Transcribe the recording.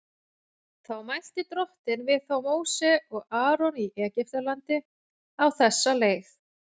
Þá mælti Drottinn við þá Móse og Aron í Egyptalandi á þessa leið:.